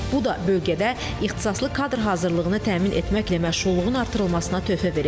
Bu da bölgədə ixtisaslı kadr hazırlığını təmin etməklə məşğulluğun artırılmasına töhfə verəcək.